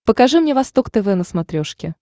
покажи мне восток тв на смотрешке